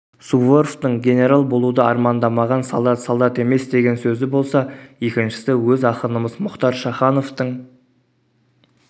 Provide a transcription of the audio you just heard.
суворовтың генерал болуды армандамаған солдат солдат емес деген сөзі болса екіншісі өз ақынымыз мұхтар шахановтың